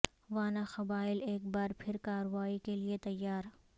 وانا قبائل ایک بار پھر کارروائی کے لیے تیار